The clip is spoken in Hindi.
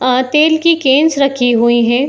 अ तेल की केन्स रखी हुई हैं।